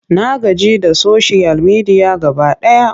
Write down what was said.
Na gaji da soshiyal media gaba ɗaya.